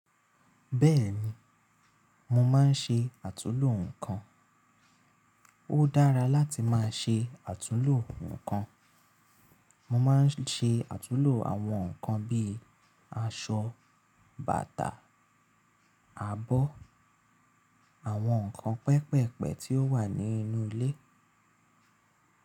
Bẹ́ẹ̀ ni, mo máa ń ṣe àtulò ǹkan. Ó dára láti máa ṣe àtulò ǹkan. Mo máa ń ṣe àtulò àwọn ǹkan bí i aṣọ, bàtà, abọ́, àwọn ǹkan pẹpẹ̀pẹ̀ tí ó wà nínú ilé.